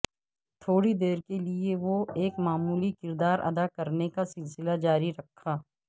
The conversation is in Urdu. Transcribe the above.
تھوڑی دیر کے لئے وہ ایک معمولی کردار ادا کرنے کا سلسلہ جاری رکھا